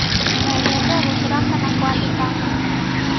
Wendete gũcora kana kwandĩka ngano?